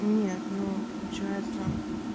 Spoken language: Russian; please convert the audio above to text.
нет ну получается